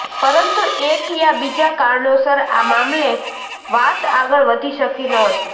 પરંતુ એક યા બીજા કારણોસર આ મામલે વાત આગળ વધી શકી નહોતી